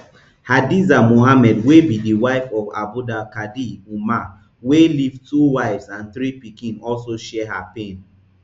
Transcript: hadiza muhammad wey be di wife of abdulkadir umar wey leave two wives and three pikin also share her pain